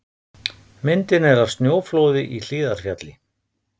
Myndin er af snjóflóði í Hlíðarfjalli.